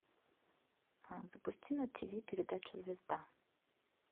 запусти на тв передачу звезда